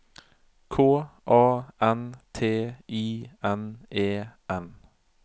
K A N T I N E N